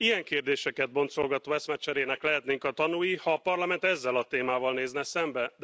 Ilyen kérdéseket boncolgató eszmecserének lehetnénk a tanúi, ha a Parlament ezzel a témával nézne szembe.